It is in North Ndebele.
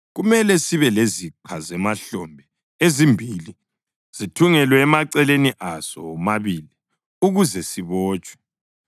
Kumele sibe leziqa zemahlombe ezimbili zithungelwe emaceleni aso womabili ukuze sibotshwe.